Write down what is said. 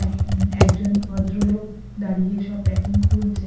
একজন ভদ্রলোক দাঁড়িয়ে সব প্যাকিং খুলছে।